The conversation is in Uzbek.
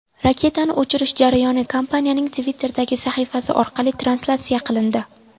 Raketani uchirish jarayoni kompaniyaning Twitter’dagi sahifasi orqali translyatsiya qilindi.